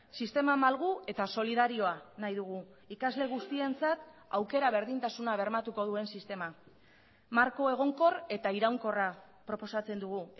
sistema malgu eta solidarioa nahi dugu ikasle guztientzat aukera berdintasuna bermatuko duen sistema marko egonkor eta iraunkorra proposatzen dugu